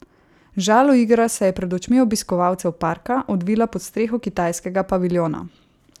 Žaloigra se je pred očmi obiskovalcev parka odvila pod streho kitajskega paviljona.